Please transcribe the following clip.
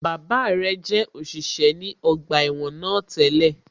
Bàbá rẹ̀ jẹ́ òṣìṣẹ́ ní ọgbà ẹ̀wọ̀n náà tẹ́lẹ̀